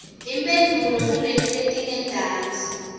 imphendvulo kuleti letingentasi